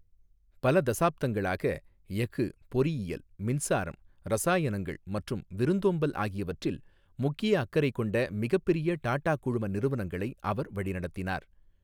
பல தசாப்தங்களாக, எஃகு, பொறியியல், மின்சாரம், இரசாயனங்கள் மற்றும் விருந்தோம்பல் ஆகியவற்றில் முக்கிய அக்கறை கொண்ட மிகப்பெரிய டாடா குழும நிறுவனங்களை அவர் வழிநடத்தினார்.